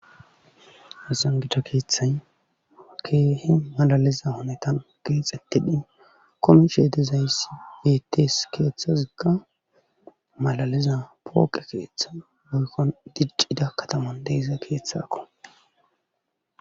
Hasan gida keeththay keehe malaliza honetan geexettidhin komi sheede zaysi bettes keeththazikka malaliza pooqe keeththa boykkon diccida kataman deiza keeththakko.